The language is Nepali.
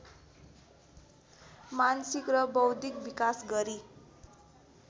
मानसिक र बौद्धिक विकास गरी